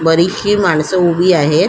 बरीचशी माणस उभी आहेत.